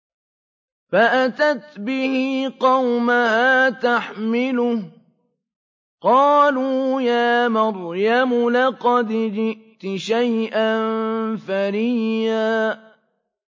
فَأَتَتْ بِهِ قَوْمَهَا تَحْمِلُهُ ۖ قَالُوا يَا مَرْيَمُ لَقَدْ جِئْتِ شَيْئًا فَرِيًّا